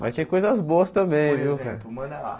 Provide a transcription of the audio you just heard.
Mas tem coisas boas também, viu? Por exemplo manda lá